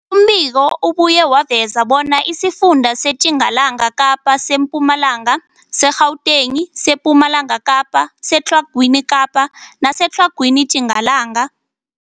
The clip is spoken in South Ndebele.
Umbiko ubuye waveza bona isifunda seTjingalanga Kapa, seMpumalanga, seGauteng, sePumalanga Kapa, seTlhagwini Kapa neseTlhagwini Tjingalanga.